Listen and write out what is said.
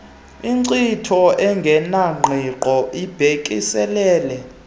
inkcitho engenangqiqo ibhekiselele